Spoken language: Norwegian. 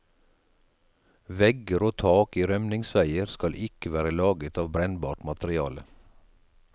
Vegger og tak i rømningsveier skal ikke være laget av brennbart materiale.